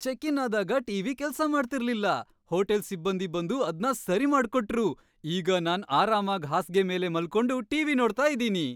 Check in ಆದಾಗ T V ಕೆಲ್ಸ ಮಾಡ್ತಿರ್ಲಿಲ್ಲ, ಹೋಟೆಲ್ ಸಿಬ್ಬಂದಿ ಬಂದು ಅದ್ನ ಸರಿ ಮಾಡ್ಕೊಟ್ರು. ಈಗ ನಾನ್‌ ಆರಾಮಾಗ್ ಹಾಸ್ಗೆ ಮೇಲ್‌ ಮಲ್ಕೊಂಡು ಟಿ ವಿ ನೋಡ್ತಾ ಇದೀನಿ.